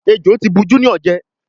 Ẹjọ tí bù Junior jé.